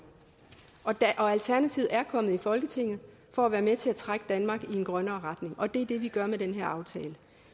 og alternativet er kommet i folketinget for at være med til at trække danmark i en grønnere retning og det er det vi gør med den her aftale